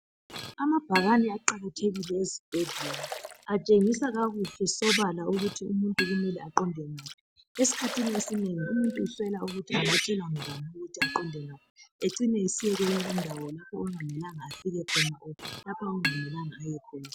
Amabhakane aqakathekile ezibhedlela atshengise kakuhle sobala ukuthi umuntu kumele aqonde ngaphi esikhathini esinengi umuntu uswela ukuthi angatshelwa ngubani ukuthi aqende ngaphi acine esiya lapho okungamelanga alike khona kumbe aqonde khona.